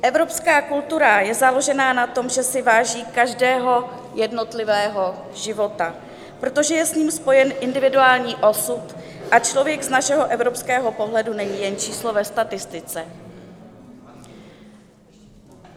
Evropská kultura je založena na tom, že si váží každého jednotlivého života, protože je s ním spojen individuální osud a člověk z našeho evropského pohledu není jen číslo ve statistice.